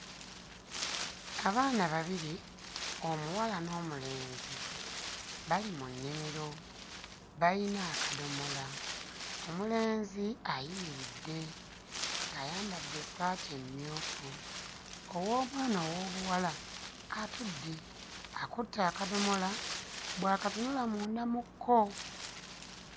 Abaana babiri omuwala n'omulenzi bali mu nnimiro bayina akadomola. Omulenzi ayimiridde ng'ayambadde essaati mmyufu ow'omwana ow'obuwala atudde akutte akadomola bw'akatunula munda mu ko.